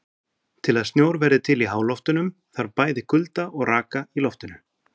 Til að snjór verði til í háloftunum þarf bæði kulda og raka í loftinu.